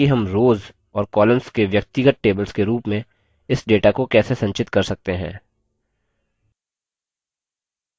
अब देखते हैं कि हम rows और columns के व्यक्तिगत tables के रूप में इस data को कैसे संचित कर सकते हैं